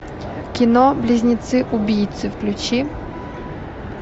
кино близнецы убийцы включи